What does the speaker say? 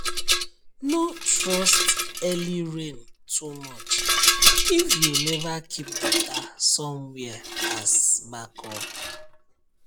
no trust early rain too much if you never keep water somewhere as backup